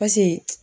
Paseke